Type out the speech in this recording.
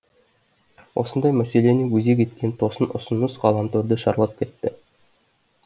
осындай мәселені өзек еткен тосын ұсыныс ғаламторды шарлап кетті